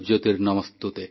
ଆମର ଶାସ୍ତ୍ରରେ କୁହାଯାଇଛି